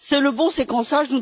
C'est le bon séquençage.